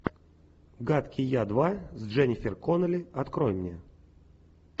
гадкий я два с дженнифер коннелли открой мне